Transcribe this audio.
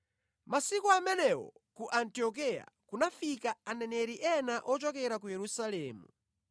Masiku amenewo ku Antiokeya kunafika aneneri ena ochokera ku Yerusalemu.